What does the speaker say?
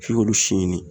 F'i k'olu si ɲini